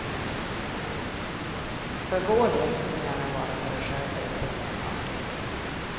För vår del får ni gärna vara för er själva däruppe, säger han artigt.